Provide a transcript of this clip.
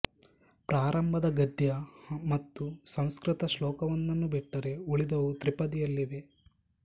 ಪ್ರಾರಂಭದ ಗದ್ಯ ಮತ್ತು ಸಂಸ್ಕೃತ ಶ್ಲೋಕ ವೊಂದನ್ನು ಬಿಟ್ಟರೆ ಉಳಿದವು ತ್ರಿಪದಿಯಲ್ಲಿವೆ